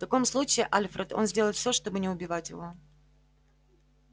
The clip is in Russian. в таком случае альфред он сделает всё чтобы не убивать его